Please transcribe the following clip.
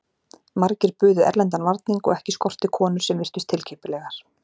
Margir buðu erlendan varning og ekki skorti konur sem virtust tilkippilegar.